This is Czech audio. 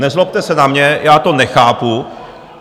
Nezlobte se na mě, já to nechápu.